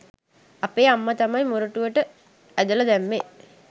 අපේ අම්ම තමයි මොරටුවට ඇදල දැම්මේ